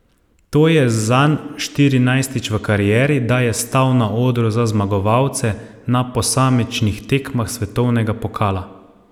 To je zanj štirinajstič v karieri, da je stal na odru za zmagovalce na posamičnih tekmah svetovnega pokala.